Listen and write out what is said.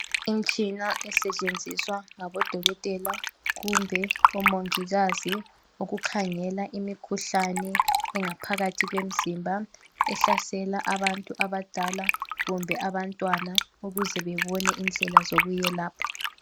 Imtshina esetshenziswa ngabodokotela kumbe omongikazi ukukhangela imikhuhlane engaphakathi kwemzimba ehlasela abantu abadala kumbe abantwana ukuze bebone indlela zokuyelapha.